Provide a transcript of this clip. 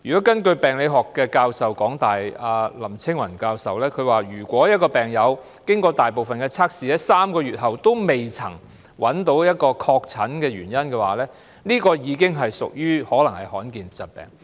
根據香港大學的病理學系林青雲教授所說，如果一位病友經過大部分的測試，在3個月後仍未確診病因，可能已患上罕見疾病。